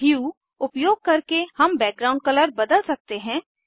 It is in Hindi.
ह्यू उपयोग करके हम बैकग्राउंड कलर बदल सकते हैं